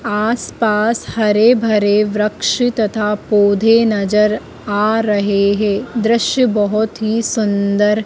आस पास हरे भरे वृक्ष तथा पौधे नजर आ रहे हैं दृश्य बहोत ही सुंदर--